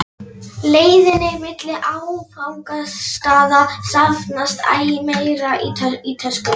leiðinni milli áfangastaða safnast æ meira í töskuna.